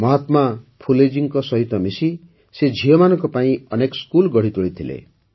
ମହାତ୍ମା ଫୁଲେଜୀଙ୍କ ସାଥିରେ ମିଶି ସେ ଝିଅମାନଙ୍କ ପାଇଁ ଅନେକ ସ୍କୁଲ ଗଢ଼ିତୋଳିଥିଲେ